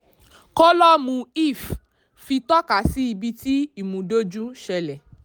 kólọ́ọ̀mù lf fi tọ́kasí ibi tí ìmúdójú ṣẹlẹ̀.